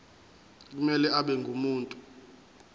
kumele abe ngumuntu